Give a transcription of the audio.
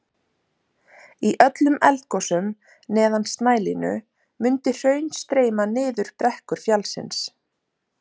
Í öllum eldgosum neðan snælínu mundi hraun streyma niður brekkur fjallsins.